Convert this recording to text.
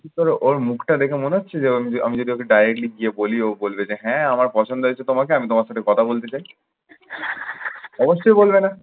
কি করব, ওর মুখটা দেখে মনে হচ্ছে যে আমি য আমি যদি directly গিয়ে বলি, ও বলবে যে হ্যাঁ আমার পছন্দ হয়েছে তোমাকে আমি তোমার সাথে কথা বলতে চাই। অবশ্যই বলবে না।